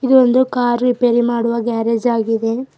ಇದು ಒಂದು car repair ಮಾಡುವ ಗ್ಯಾರೇಜ್ ಆಗಿದೆ.